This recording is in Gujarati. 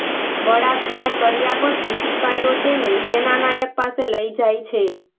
બળાત્કાર કર્યા પછી સિપાઈઓ તેને સેનાનાયક પાસે લઈ જાય છે